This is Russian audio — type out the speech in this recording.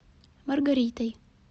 маргаритой